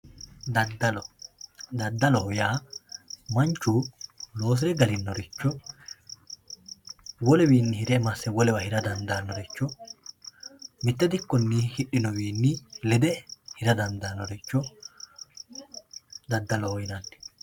daddalo daddaloho yaa manchu loosire galinnoricho woluwiinni hire masse wolewa hira dandaannoricho mitte dikkonni hidhinoricho lede hira dandaannoricho daddaloho yinanni.